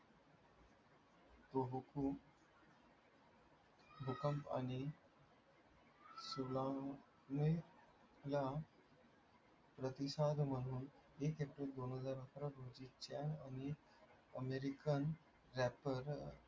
भूकंप आणि